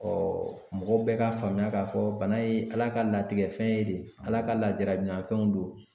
mɔgɔ bɛɛ ka faamuya ka fɔ bana ye ala ka latigɛ fɛn ye de. Ala ka lajarabi na fɛnw don.